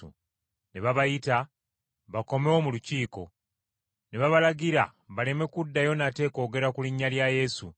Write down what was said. Ne babayita bakomewo mu Lukiiko, ne babalagira baleme kuddayo nate kwogera ku linnya lya Yesu.